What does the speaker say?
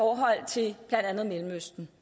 jeg at